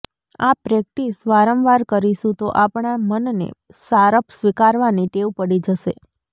આ પ્રેક્ટિસ વારંવાર કરીશું તો આપણા મનને સારપ સ્વીકારવાની ટેવ પડી જશે